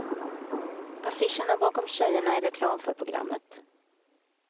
Affischerna bakom tjejerna är reklam för programmet.